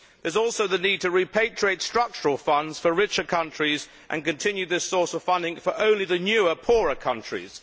There is also the need to repatriate structural funds for richer countries and continue this source of funding for only the newer, poorer countries.